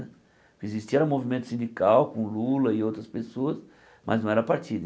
Existia era um movimento sindical com Lula e outras pessoas, mas não era partido.